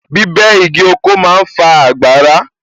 Bíbẹ́ igi oko ma ń fa àgbàrá